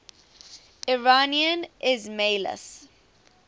iranian ismailis